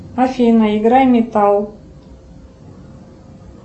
афина играй металл